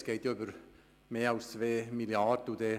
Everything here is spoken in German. Es geht nämlich um mehr als 2 Mrd. Franken.